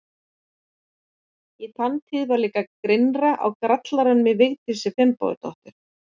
Í þann tíð var líka grynnra á grallaranum í Vigdísi Finnbogadóttur.